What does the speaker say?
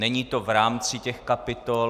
Není to v rámci těch kapitol.